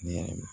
Ni